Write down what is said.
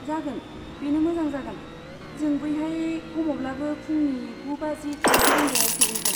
जागोन, बेनो मोजां जागोन, जों बैहाय खमावब्लाबो फुंनि गु बाजि थामजि रिंगायाव सौहैगोन।